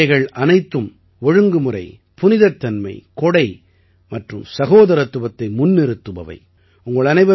இந்தப் பண்டிகைகள் அனைத்தும் ஒழுங்குமுறை புனிதத்தன்மை கொடை மற்றும் சகோதரத்துவத்தை முன்னிறுத்துபவை